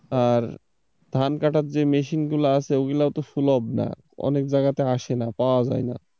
আর ধান কাটার যে মেশিন গুলো আছে ওগুলোই তো সুলভ না অনেক জায়গাতে আসে না, পাওয়া যায় না,